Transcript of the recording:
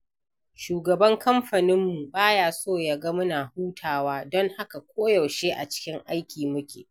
Shugaban kamfaninmu ba ya so ya ga muna hutawa, don haka koyaushe a cikin aiki muke.